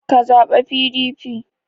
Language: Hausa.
Ka zaɓa PDP!